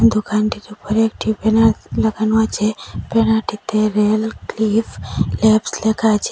দোকানটির উপরে একটি ব্যানার লাগানো আছে ব্যানারটিতে রেলক্লিফ ল্যাবস লেখা আছে।